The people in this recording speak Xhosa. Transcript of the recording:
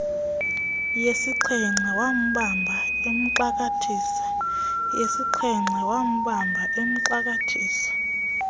yesixhenxe wambamba emxakathisa